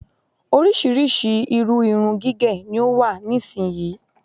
Oríṣríṣi irú irun gígẹ ni ó wà nísìyí.